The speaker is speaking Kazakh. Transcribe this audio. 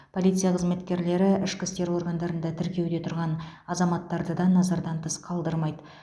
полиция қызметкерлері ішкі істер органдарында тіркеуде тұрған азаматтарды да назардан тыс қалдырмайды